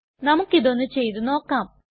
നമുക്കിതൊന്നു ചെയ്തു നോക്കാം